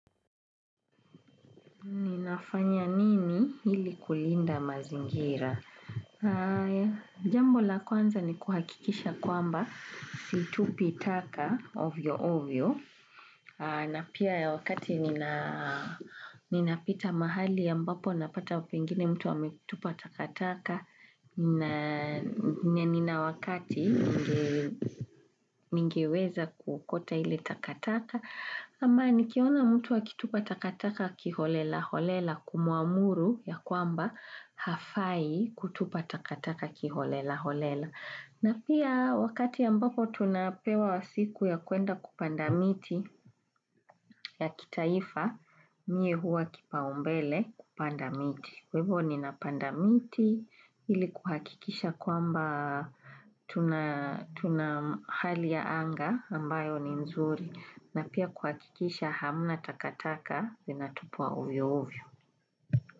Ninafanya nini hili kulinda mazingira? Jambo la kwanza ni kuhakikisha kwamba situpi taka ovyo ovyo. Na pia ya wakati nina pita mahali ya mbapo napata pengine mtu amekutupa takataka. Na nina wakati ningeweza kukota hile takataka. Ama nikiona mtu akitupa takataka kiholela holela kumuamuru ya kwamba hafai kutupa takataka kiholela holela. Na pia wakati ambapo tunapewa wa siku ya kuenda kupanda miti ya kitaifa, mie huwa kipa umbele kupanda miti. Kwa hevo ni napanda miti ili kuhakikisha kwamba tunahali ya anga ambayo ni mzuri na pia kuhakikisha hamuna takataka vina tupwa ovio ovio.